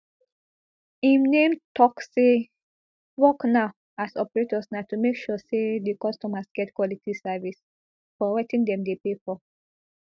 im name tok say dia work now as operators na to make sure say di customers get quality service for wetin dem dey pay for